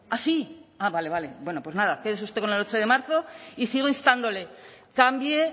ah sí ah vale vale pues nada quédese usted con el ocho de marzo y sigo instándole cambie